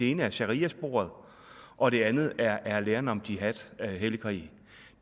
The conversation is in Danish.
ene er sharia sporet og det andet er er læren om jihad hellig krig